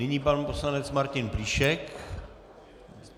Nyní pan poslanec Martin Plíšek.